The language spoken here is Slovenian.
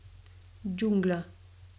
Džungla.